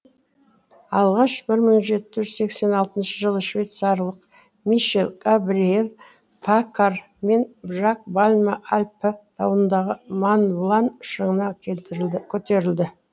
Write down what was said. алғаш бір мың жеті жүз сексен алтыншы жылы швейцарлық мишель габриэль паккар мен жак бальма альпі тауындағы монлан шыңына көтерілді